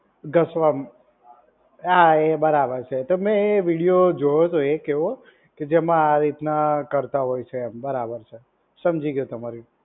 ગસવામાં હા એ બરાબર છે તો મેં એ વીડિયો જોયો હતો એક એવો કે જેમાં આ રીતના કરતા હોય છે એમ બરાબર છે. સમજી ગયો તમારી